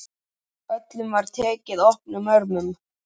Öllum var tekið opnum örmum.